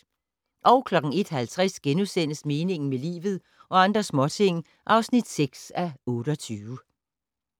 01:50: Meningen med livet - og andre småting (6:28)*